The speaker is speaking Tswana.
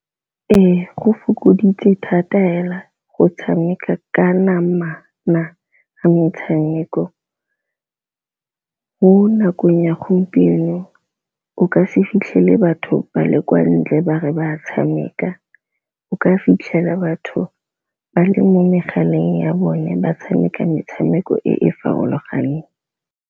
Ee go fokoditse thata fela go tshameka ka namana metshameko, mo nakong ya gompieno o ka se fitlhele batho ba le kwa ntle ba re ba tshameka o ka fitlhela batho ba le mo megaleng ya bone ba tshameka metshameko e e farologaneng.